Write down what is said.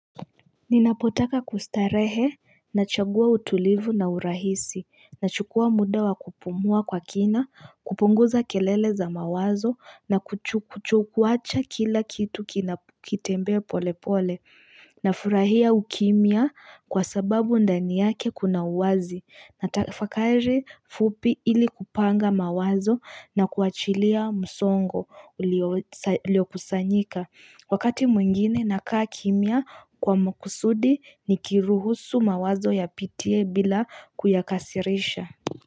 Ninapotaka kustarehe, nachagua utulivu na urahisi, nachukua muda wa kupumua kwa kina, kupunguza kelele za mawazo, na kuchukuacha kila kitu kinakitembe pole pole, na furahia ukimia kwa sababu ndani yake kuna uwazi, natafakari fupi ili kupanga mawazo na kuachilia msongo ulio kusanyika. Wakati mwingine nakaa kimia kwa makusudi ni kiruhusu mawazo yapitie bila kuyakasirisha.